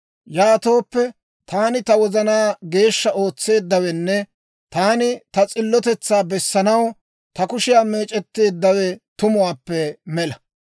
Yaatooppe, taani ta wozanaa geeshsha ootseeddawenne taani ta s'illotetsaa bessanaw, ta kushiyaa meec'etteeddawe tumuwaappe mela.